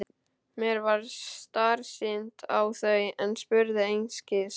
Mér varð starsýnt á þau en spurði einskis.